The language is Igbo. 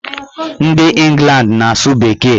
Ndị Ịngland na-asụ bekee.